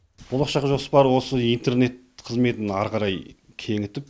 болашақ жоспар осы интернет қызметін ары қарай кеңітіп